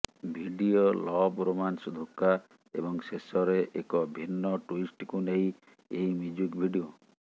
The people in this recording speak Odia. ଭିଡିଓ ଲଭ୍ ରୋମାନ୍ସ ଧୋକା ଏବଂ ଶେଷରେ ଏକ ଭିନ୍ନ ଟୁଇଷ୍ଟକୁ ନେଇ ଏହି ମ୍ୟୁଜିକ୍ ଭିଡିଓ